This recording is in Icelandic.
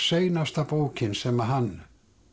seinasta bókin sem hann